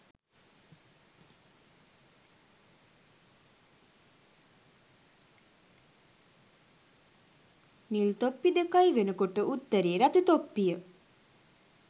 නිල් තොප්පි දෙකයි වෙනකොට උත්තරේ රතු තොප්පිය.